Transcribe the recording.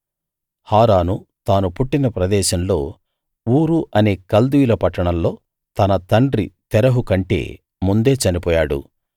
హారాను తాను పుట్టిన ప్రదేశంలో ఊరు అనే కల్దీయుల పట్టణంలో తన తండ్రి తెరహు కంటే ముందే చనిపోయాడు